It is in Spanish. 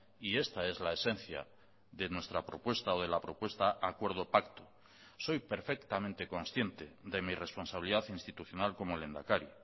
y esta es la esencia de nuestra propuesta o de la propuesta acuerdo pacto soy perfectamente consciente de mi responsabilidad institucional como lehendakari